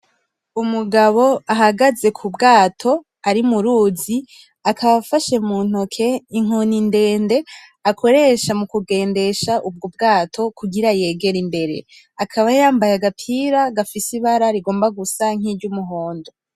Umugabo ahagaze kubwato ari mu ruzi akaba afashe mu ntoke inkoni ndende akoresha muku gendesha ubwato kugira yegere imbere, akaba yambaye agapira gafise ibara kagomba gusa nki ry'umuhondo.